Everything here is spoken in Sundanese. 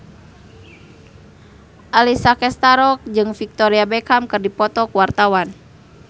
Alessia Cestaro jeung Victoria Beckham keur dipoto ku wartawan